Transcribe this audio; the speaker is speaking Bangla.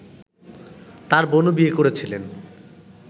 তাঁর বোনও বিয়ে করেছিলেন